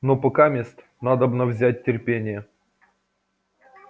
но покамест надобно взять терпение